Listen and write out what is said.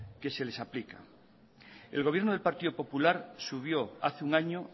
que se les aplica el gobierno del partido popular subió hace un año